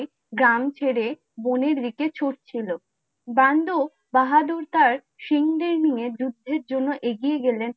গ্রাম ছেড়ে বনেই দিকে ছুটছিল । বন্দো বাহাদুর তার সিংহদের নিয়ে যুদ্ধের জন্য এগিয়ে গেলেন